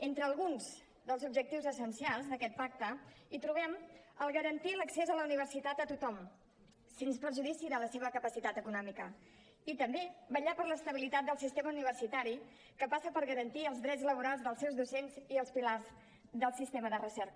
entre alguns dels objectius essencials d’aquest pacte trobem garantir l’accés a la universitat a tothom sens perjudici de la seva capacitat econòmica i també vetllar per l’estabilitat del sistema universitari que passa per garantir els drets laborals dels seus docents i els pilars del sistema de recerca